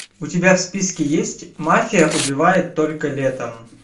у тебя в списке есть мафия убивает только летом